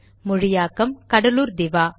மொழியாக்கம் கடலூர் திவா